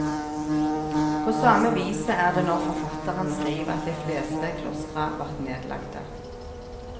På same viset er det når forfattaren skriv at dei fleste klostra vart nedlagte.